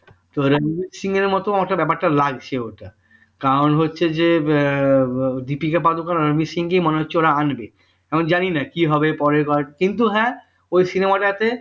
রণবীর সিং এর মত হয়তো ব্যাপারটা লাগছে কারণ হচ্ছে যে দীপিকা পাডুকোন আর রণবীর সিংকে মনে হচ্ছে ওরা আনবে আমি জানিনা কি হবে পরের কিন্তু হ্যাঁ ওই cinema টা তে